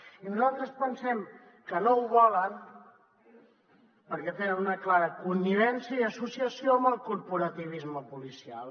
i nosaltres pensem que no ho volen perquè tenen una clara connivència i associació amb el corporativisme policial